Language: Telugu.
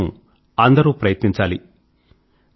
ఇందుకోసం అందరూ ప్రయత్నించాలి